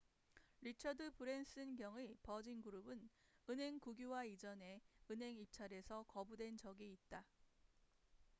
리처드 브랜슨 경의 버진그룹은 은행 국유화 이전에 은행 입찰에서 거부된 적이 있다